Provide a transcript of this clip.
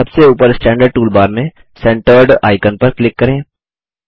सबसे ऊपर standard toolbar में सेंटर्ड आइकन पर क्लिक करें